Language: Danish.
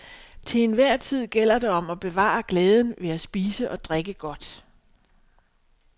Til enhver tid gælder det om at bevare glæden ved at spise og drikke godt.